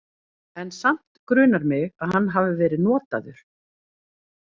En samt grunar mig að hann hafi verið notaður.